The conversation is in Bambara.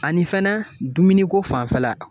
Ani fɛnɛ dumuni ko fanfɛla